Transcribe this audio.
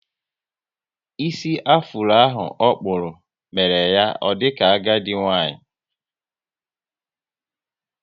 Ísì afuro ahụ okpúrụ, mere ya o dika agadi nwanyị